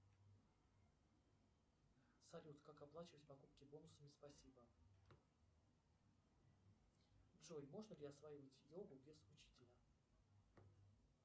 салют как оплачивать покупки бонусами спасибо джой можно ли осваивать йогу без учителя